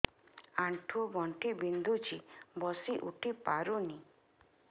ଆଣ୍ଠୁ ଗଣ୍ଠି ବିନ୍ଧୁଛି ବସିଉଠି ପାରୁନି